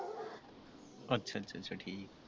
ਅੱਛਾ ਅੱਛਾ ਅੱਛਾ ਠੀਕਾ ।